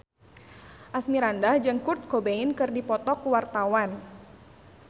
Asmirandah jeung Kurt Cobain keur dipoto ku wartawan